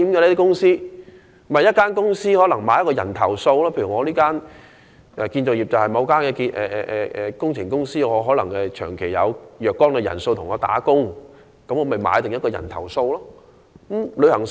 不就是一間公司為某些人購買保險，例如某間建築工程公司可能長期有若干的工人為其工作，便為該等工人購買保險。